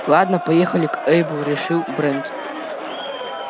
ладно поехали к эйблу решил брент